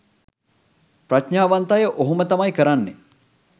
ප්‍රඥාවන්ත අය ඔහොම තමයි කරන්නේ.